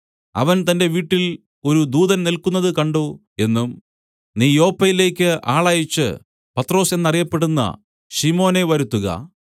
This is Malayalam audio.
അവൻ തന്റെ വീട്ടിൽ ഒരു ദൂതൻ നില്ക്കുന്നതു കണ്ട് എന്നും നീ യോപ്പയിലേക്ക് ആളയച്ച് പത്രൊസ് എന്ന് അറിയപ്പെടുന്ന ശിമോനെ വരുത്തുക